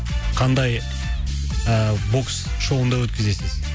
қандай ыыы бокс шоуында өткізесіз